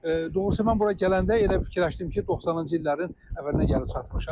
Doğrusu mən bura gələndə elə fikirləşdim ki, 90-cı illərin əvvəlinə gəlib çatmışam.